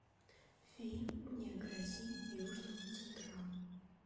фильм не грози южному централу